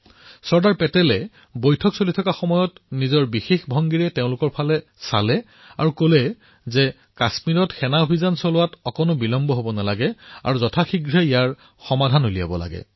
চৰ্দাৰ পেটেলে বৈঠকৰ সময়ত নিজস্ব ভংগীমাৰে তেওঁৱৈ চাই কৈছিল যে কাশ্মীৰলৈ সেনা অভিযানত যাতে অকণো বিলম্ব নহয় আৰু অতি সোনকালে ইয়াৰ সমাধান উলিয়াব লাগে